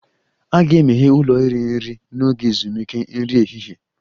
A ga-emeghe ụlọ iri nri n'oge ezumike nri ehihie